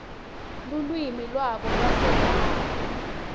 lulwimi lwabo lwasekhaya